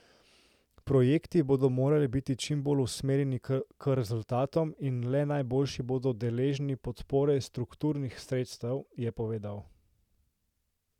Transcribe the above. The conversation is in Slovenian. Projekti bodo morali biti čim bolj usmerjeni k rezultatom in le najboljši bodo deležni podpore strukturnih sredstev, je povedal.